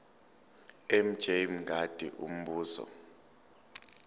mj mngadi umbuzo